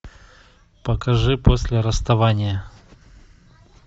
покажи после расставания